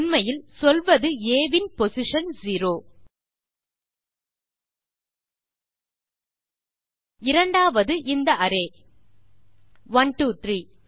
உண்மையில் சொல்வது ஆ இன் பொசிஷன் 0 இரண்டாவது இந்த அரே 123